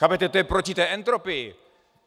Chápete, to je proti té entropii.